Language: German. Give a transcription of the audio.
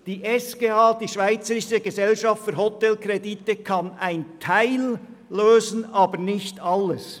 Die Schweizerische Gesellschaft für Hotelkredite (SGH) kann einen Teil lösen, aber nicht alles.